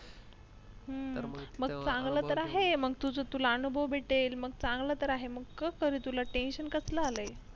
हम्म मंग चांगल तर आहे म्हणजे तुला अनुभव भेटेल मग चांगल तर आहे मग कस रे तुला tension कसल आल आहे